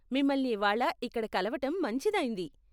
మిమల్ని ఇవ్వాళ ఇక్కడ కలవటం మంచిదైంది.